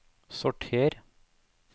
sorter